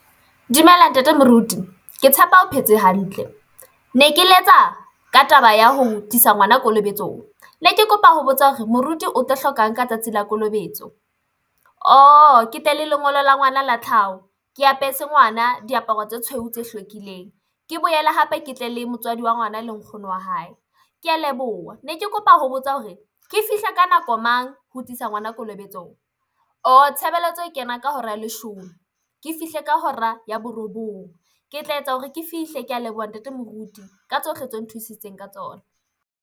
Dumela ntate Moruti, ke tshepa o phetse hantle ne ke letsa ka taba ya ho tlisa ngwana kolobetsong ne ke kopa ho botsa hore moruti o tla hlokang ka tsatsi la kolobetso. Ke tle le lengolo la ngwana la tlhaho ke apesa ngwana diaparo tse tshweu tse hlwekileng, ke boele hape ke tle le motswadi wa ngwana le nkgono wa hae. Ke a leboha, ne ke kopa ho botsa hore ke fihle ka nako mang ho tlisa ngwana kolobetsong tshebeletso e kena ka hora ya leshome. Ke fihle ka hora ya borobong ke tla etsa hore ke fihle kea leboha Ntate Moruti ka tsohle tse nthusitseng ka tsona.